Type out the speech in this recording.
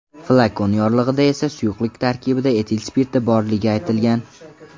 Flakon yorlig‘ida esa suyuqlik tarkibida etil spirti borligi aytilgan.